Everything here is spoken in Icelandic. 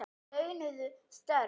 Eru þetta launuð störf?